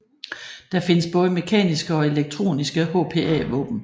Der findes både mekaniske og elektroniske HPA våben